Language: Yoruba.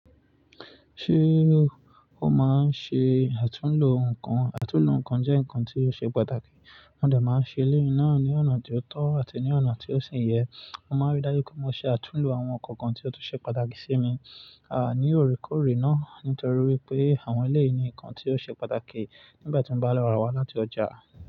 Ṣé o máa ń ṣe àtúnlo nǹkan? Àtúnlo nǹkan jẹ́ nǹkan tí ó ṣe pàtàkì. Mo dẹ́ máa ń ṣe èléyìí náà ní ọ̀nà tí ó tọ́ àti ní ọ̀nà tí ó sìn yẹ. Mo máa rí dájú pé mo ṣe àtúnlo àwọn nǹkan kan tí ó tún ṣe pàtàkì sí mi, àní òrékòórè náà. Nítorí wípé àwọn èléyìí ní nǹkan tí ó ṣe pàtàkì nígbà tí mo bá lọ ra wá láti ọjà.